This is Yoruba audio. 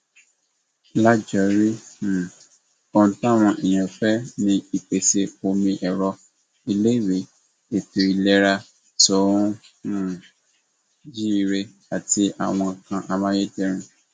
lájorí um ohun táwọn èèyàn fẹ ni ìpèsè omi ẹrọ iléèwé ètò ìlera tó um jíire àti àwọn nǹkan amáyédẹrùn